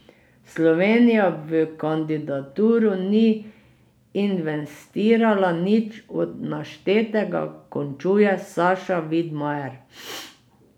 Slovenija v kandidaturo ni investirala nič od naštetega, končuje Saša Vidmajer.